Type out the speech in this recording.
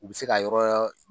U bɛ se ka yɔrɔ